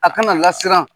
A kana lasiran